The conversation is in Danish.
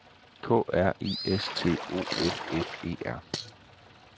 K R I S T O F F E R